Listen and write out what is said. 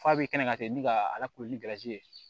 F'a bɛ kɛ ka ten ni ka ala kulodimi ye